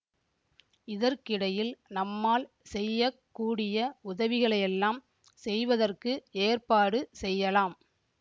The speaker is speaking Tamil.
இதற்கிடையில் நம்மால் செய்ய கூடிய உதவிகளையெல்லாம் செய்வதற்கு ஏற்பாடு செய்யலாம்